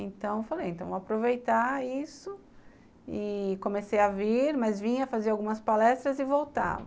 Então, falei, vou aproveitar isso e comecei a vir, mas vinha fazer algumas palestras e voltava.